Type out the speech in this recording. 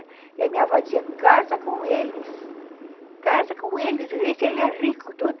E a minha avó dizia, casa com eles, casa com eles, vê se ele é rico e tudo.